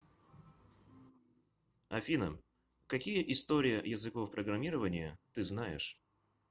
афина какие история языков программирования ты знаешь